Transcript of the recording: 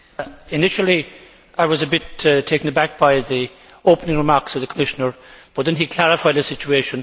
Initially, I was a bit taken aback by the opening remarks of the Commissioner, but then he clarified the situation.